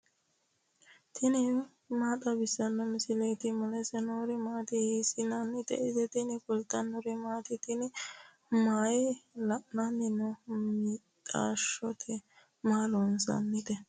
tini maa xawissanno misileeti ? mulese noori maati ? hiissinannite ise ? tini kultannori mattiya? Tinni mayi aanna noo mixaashotti? Maa loosannite?